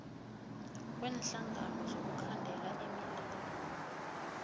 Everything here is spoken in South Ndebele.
kweenhlangano zokukhandela imililo